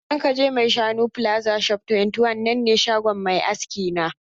Idan ka je maishanu plaza shop 21 nan ne shagon mai aski na.